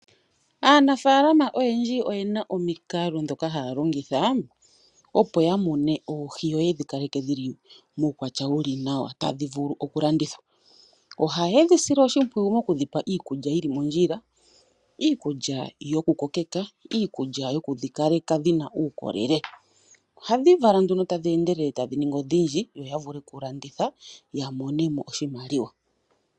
Aanafaalama oyendji oyena omikalo ndhoka haya longitha opo ya mune oohi yo yedhi kaleke dhili muukwatya wuli nawa tadhi vulu okulandithwa. Oha yedhi sile oshimpwiyu mokudhi pa iikulya yili mondjila , iikulya yokudhikokeka, iikulya yokudhikaleka dhina uukolele. Ohadhi vala nduno tadhi endelele tadhi ningi odhindji yo yavule okulanditha ya mone mo oshimaliwa.